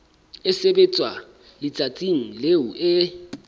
e sebetswa letsatsing leo e